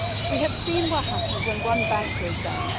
We have seen what happens when one bank goes down.